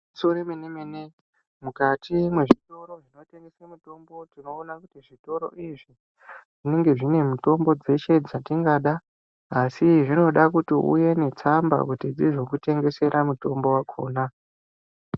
Gwinyiso remene-mene mukati mezvitoro zvinotengese mitombo tinoona kuti zvitoro izvi zvinenge zvine mitombo dzeshe dzatingada asi zvinoda kuti uuye netsamba kuti dzizokutengesera mutombo vakona.